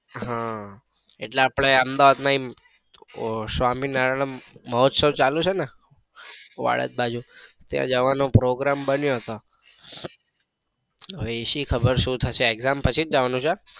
હા એટલે આપડે અહમેદાબાદ માં સ્વામિનારાયણ મહોત્સવ ચાલુ છે ને વાડજ બાજુ ત્યાં જવાનો program બન્યો હતો હવે એ સી ખબર શું થશે exam પછી જ જવાનું થશે.